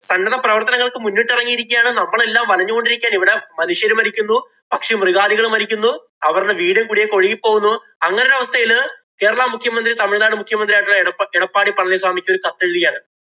സന്നദ്ധപ്രവര്‍ത്തനങ്ങള്‍ക്ക് മുന്നിട്ടിറങ്ങിയിരിക്കുകയാണ്. നമ്മളെല്ലാം വലഞ്ഞുകൊണ്ടിരിക്കയാണ്. ഇവിടെ മനുഷ്യര് മരിക്കുന്നു. പക്ഷിമൃഗാദികള്‍ മരിക്കുന്നു. അവരുടെ വീടും കുടിയും ഒക്കെ ഒഴുകിപോകുന്നു. അങ്ങനെ അരവസ്ഥയില് കേരള മുഖ്യമന്ത്രിയും തമിഴ്നാട് മുഖ്യമന്ത്രിയുമായിട്ടുള്ള എടപ്പാളി പളനിസ്വാമിക്ക് ഒരു കത്തെഴുതിയാല്‍